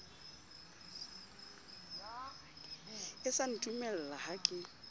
e sa ntumella ha ke